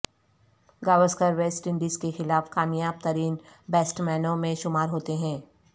Gavaskar West Indies کے خلاف کامیاب ترین بیٹسمینوں میں شمار ہوتے ہیں